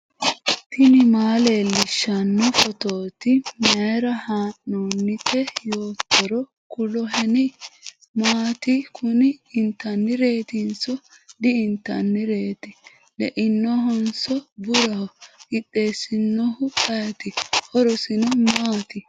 tini maa leellishshanno phootooti mayra haa'noonnite yoottoro kuloheni ? maati kuni intannireetinso ? di intannireeti ? leinohonso buraho qixxeessinohu ayeeti ? horosino maai?